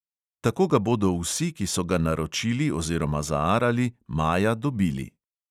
Tako ga bodo vsi, ki so ga naročili oziroma zaarali, maja dobili.